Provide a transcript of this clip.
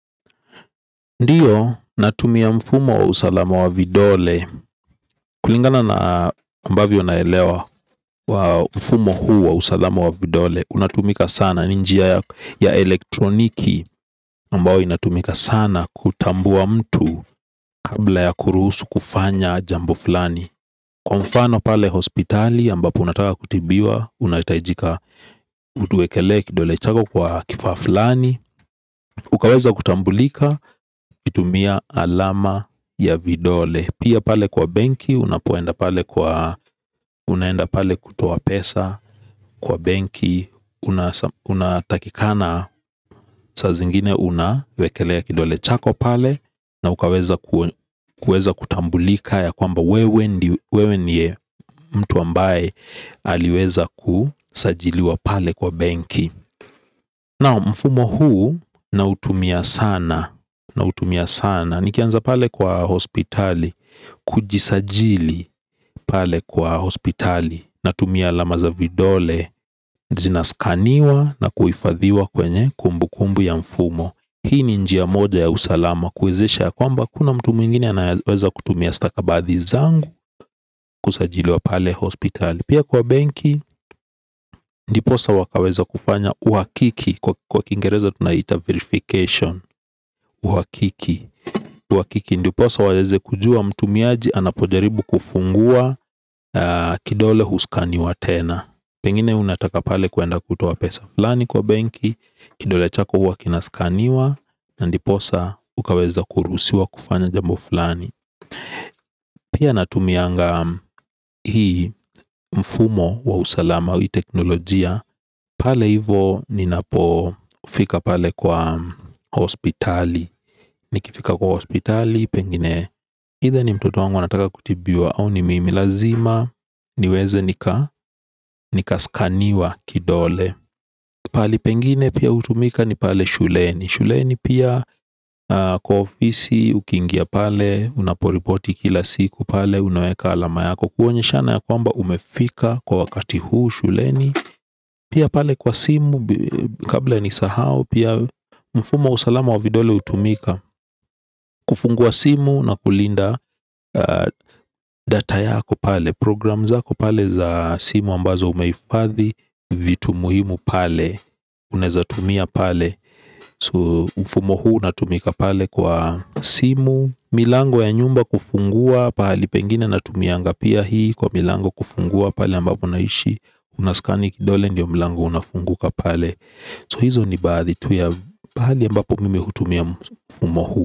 Ndiyo, natumia mfumo wa usalama wa vidole. Kulingana na ambavyo naelewa mfumo huu wa usalama wa vidole, unatumika sana, ni njia ya elektroniki ambayo inatumika sana kutambua mtu kabla ya kuruhusu kufanya jambo fulani. Kwa mfano pale hospitali ambapo unataka kutibiwa, unahitajika utuwekelee kidole chako kwa kifaa fulani. Ukaweza kutambulika ukitumia alama ya vidole. Pia pale kwa benki unapoenda pale kutoa pesa kwa benki. Unatakikana saa zingine unawekelea kidole chako pale na ukaweza kutambulika ya kwamba wewe ndiye mtu ambaye aliweza kusajiliwa pale kwa benki. Naam, mfumo huu nautumia sana, nautumia sana. Nikianza pale kwa hospitali, kujisajili pale kwa hospitali, natumia alama za vidole. Zinaskaniwa na kuhifadhiwa kwenye kumbu kumbu ya mfumo. Hii ni njia moja ya usalama, kuwezesha ya kwamba hakuna mtu mwingine anaweza kutumia stakabathi zangu kusajiliwa pale hospitali. Pia kwa benki ndiposa wakaweza kufanya uhakiki. Kwa kingerezo tunaita verification. Uhakiki. Uhakiki ndiposa waweze kujua mtumiaji anapojaribu kufungua. Kidole huskaniwa tena. Pengine unataka pale kuenda kutoa pesa fulani kwa benki, kidole chako hua kinaskaniwa na ndiposa ukaweza kuruhusiwa kufanya jambo fulani. Pia natumianga hii mfumo wa usalama wa teknolojia. Pale hivo ninapofika pale kwa Hospitali. Nikifika kwa hospitali Pengine Hitha ni mtoto wangu anataka kutibiwa au ni mimi lazima niweze nika nika skaniwa kidole. Pali pengine pia hutumika ni pale shuleni. Shuleni pia kwa ofisi ukiingia pale unaporipoti kila siku pale unaweka alama yako kuonyeshana ya kwamba umefika kwa wakati huu shuleni. Pia pale kwa simu. Kabla nisahau pia mfumo wa usalama wa vidole hutumika kufungua simu na kulinda data yako pale. Program zako pale za simu ambazo umehifadhi. Vitu muhimu pale. Uneweza tumia pale So mfumo huu unatumika pale kwa simu. Milango ya nyumba kufungua pahali pengine natumianga pia hii kwa milango kufungua pale ambapo naishi. Unaskani kidole ndio mlango unafunguka pale So hizo ni baadhi tu ya pahali ambapo mimi hutumia mfumo huu.